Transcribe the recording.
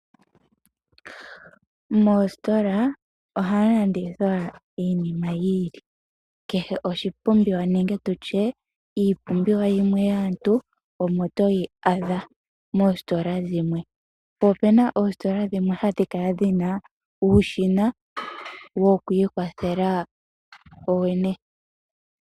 Moositola ohamu landithwa iinima yi ili. Kehe oshipumbiwa nenge tu tye iipumbiwa yimwe yaantu omo toyi adha moositola dhimwe. Opuna oositola dhimwe hadhi kala dhina uushina wokwiikwathela wowene.